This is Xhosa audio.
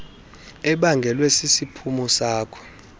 ebangelwe sisiphumo sako